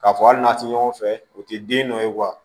K'a fɔ hali n'a tɛ ɲɔgɔn fɛ o tɛ den dɔ ye